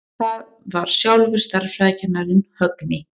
Það var sjálfur stærðfræðikennarinn, Högni.